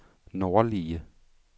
nordlige